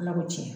Ala ko tiɲɛ